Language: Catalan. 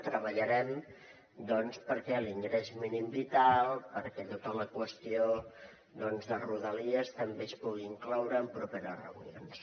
treballarem perquè l’ingrés mínim vital perquè tota la qüestió de rodalies també es puguin incloure en properes reunions